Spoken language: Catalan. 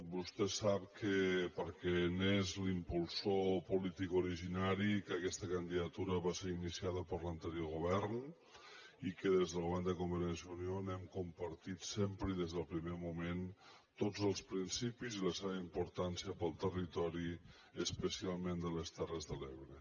vostè sap perquè n’és l’impulsor polític originari que aquesta candidatu·ra va ser iniciada per l’anterior govern i que des del govern de convergència i unió n’hem compartit sem·pre i des del primer moment tots els principis i la seva importància per al territori especialment de les terres de l’ebre